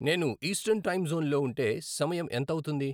నేను eastern time జోన్లో ఉంటే సమయం ఎంత అవుతుంది